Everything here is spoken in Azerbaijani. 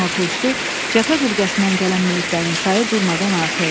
Günortaüstü cəbhə bölgəsindən gələn meytlərinin sayı durmadan artırırdı.